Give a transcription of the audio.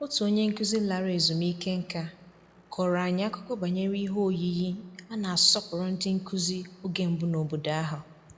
Otu onye nkụzi lara ezumike nká kọrọ anyị akụkọ banyere ihe oyiyi a na-asọpụrụ ndị nkụzi oge mbụ n'obodo ahụ